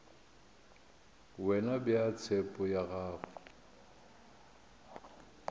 wena bea tshepo ya gago